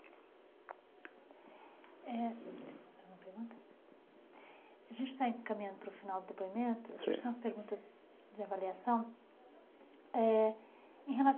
Eh, a gente está caminhando para o final do depoimento, certo, e a gente tem algumas perguntas de avaliação.